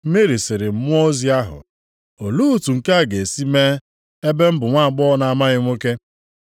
Meri sịrị mmụọ ozi ahụ, “Olee otu nke a ga-esi mee ebe m bụ nwaagbọghọ na-amaghị nwoke?”